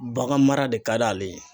Bagan mara de ka d' ale ye